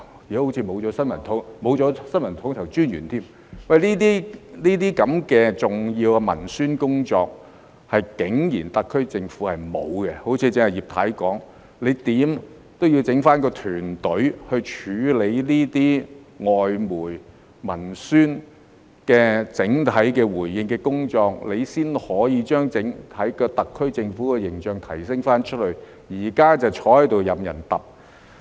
現在甚至沒有新聞統籌專員，這些重要的文宣工作，特區政府竟然沒有做，正如葉太剛才說，無論如何也要弄一個團隊來處理這些外媒文宣的整體回應的工作，這樣才可以對外提升特區政府的整體形象，但現在卻坐着任人"揼"。